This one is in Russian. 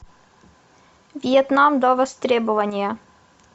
вьетнам до востребования